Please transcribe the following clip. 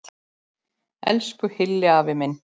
Elsku Hilli afi minn.